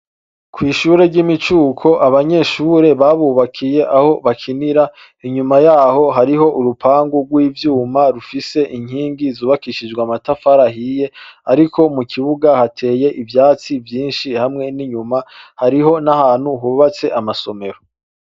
Kw'ishure ry'imicuko abanyeshure babukohe aho bakinira, inyuma yaho hariho urupangu rw'ivyuma, rufise inkingi zubakishijwe amatafari ahiye, ariko mukibuga hateye ivyatsi vyinshi, hamwe n'inyuma hariho nahantu hubatse amasomero.